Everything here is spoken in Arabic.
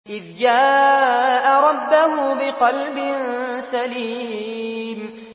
إِذْ جَاءَ رَبَّهُ بِقَلْبٍ سَلِيمٍ